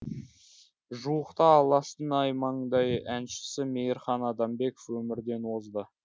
жуықта алаштың аймаңдай әншісі мейірхан адамбеков өмірден озды